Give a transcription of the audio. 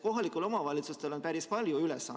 Kohalikel omavalitsustel on päris palju ülesandeid.